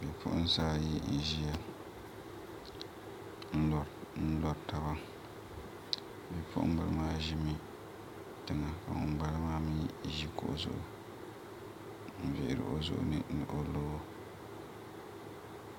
Bipuɣunsi ayi n ʒiya n lori taba bipuɣunbili maa ʒimi ka ŋunbala maa mii ʒi kuɣu zuɣu n vihiri o zuɣu ni o loo